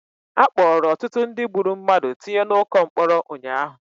Akpọrọ ọtụtụ ndị gburu mmadụ tinye na ụkọ mkpọrọ ụnyaahụ